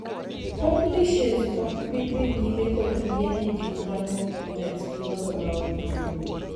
Publishes ok bidhii nyime kod yiene jii rango kontents gi nono maonge chudo.